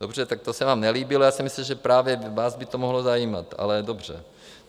Dobře, tak to se vám nelíbilo, já jsem myslel, že právě vás by to mohlo zajímat, ale dobře.